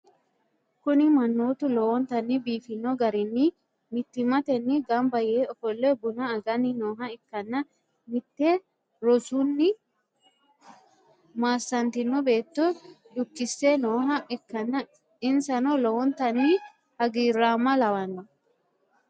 kuni mannooti lowontanni biifino garinni mittimmatenni gamba yee ofolle buna aganni nooha ikkanna, mitte rosunni maaassantino beetto dukkise nooha ikkanna, insano lowontanni hagiiraamma lawanno.